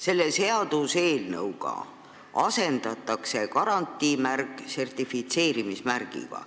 Selle seaduseelnõuga asendatakse garantiimärk sertifitseerimismärgiga.